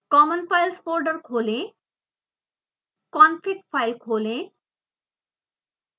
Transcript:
common files folder खोलें config file खोलें